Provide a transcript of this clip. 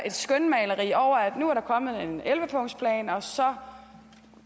et skønmaleri om at nu er der kommet en elleve punktsplan og så